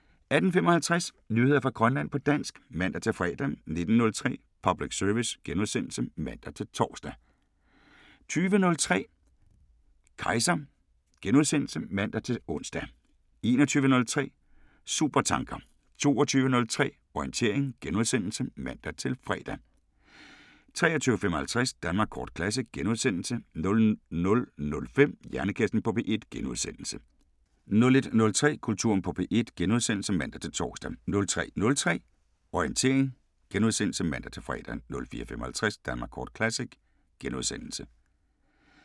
18:55: Nyheder fra Grønland på dansk (man-fre) 19:03: Public service *(man-tor) 20:03: Kejser *(man-ons) 21:03: Supertanker 22:03: Orientering *(man-fre) 23:55: Danmark kort Classic * 00:05: Hjernekassen på P1 * 01:03: Kulturen på P1 *(man-tor) 03:03: Orientering *(man-fre) 04:55: Danmark kort Classic *